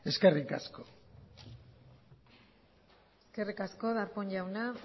eskerrik asko eskerrik asko darpón jauna